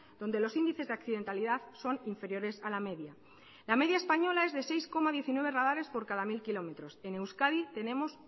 donde los índices de accidentalidad son inferiores a la media la media española es de seis coma diecinueve radares por cada mil kilómetros en euskadi tenemos